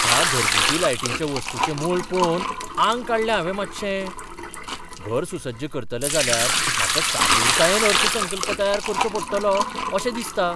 ह्या घरगुती लायटीच्या वस्तूंचें मोल पळोवन आंग काडलें हांवें मातशें. घर सुसज्ज करतलें जाल्यार म्हाका सादूरतायेन अर्थसंकल्प तयार करचो पडटलो अशें दिसता.